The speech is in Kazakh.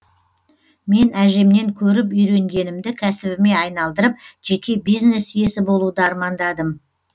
мен әжемнен көріп үйренгенімді кәсібіме айналдырып жеке бизнес иесі болуды армандадым